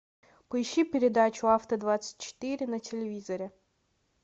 поищи передачу авто двадцать четыре на телевизоре